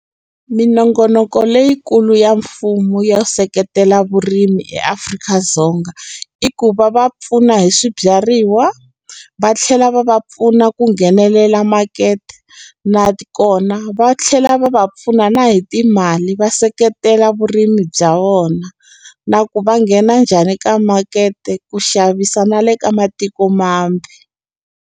Minongonoko leyikulu ya mfumo ya seketela vurimi eAfrika-Dzonga i ku va va pfuna hi swibyariwa va tlhela va va pfuna ku nghenelela makete natikona va tlhela va va pfuna na hi timali va seketela vurimi bya vona na ku va nghena njhani ka makete ku xavisa na le ka matiko mambe.